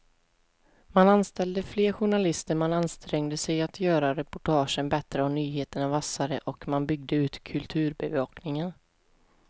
Man anställde fler journalister, man ansträngde sig att göra reportagen bättre och nyheterna vassare och man byggde ut kulturbevakningen.